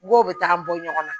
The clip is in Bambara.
Mɔgɔw bɛ taga bɔ ɲɔgɔn na